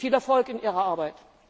Viel Erfolg in Ihrer Arbeit!